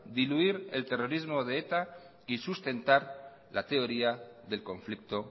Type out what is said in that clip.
diluir el terrorismo de eta y sustentar la teoría del conflicto